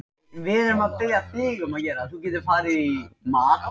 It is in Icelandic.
Ónotaðir varamenn: Kristinn Geir Guðmundsson, Jóhann Helgason.